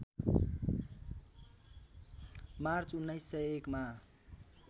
March १९०१ मा